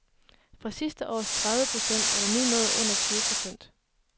Fra sidste års tredive procent er den nu nået under tyve procent.